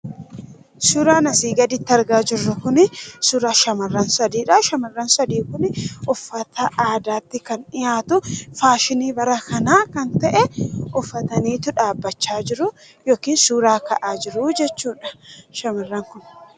Suuraan asii gaditti argaa jirru kun, suuraa shamarran sadiidha. shamarran sadii kun uffata aadaatti kan dhi'atu, faashiini bara kanaa kan ta'e, uffatanitu dhaabbachaa jiru. yookiis suuraa ka'aa jiru jechudha shamarran kun.